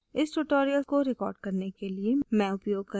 इस tutorial को record करने के लिए मैं उपयोग कर रही हूँ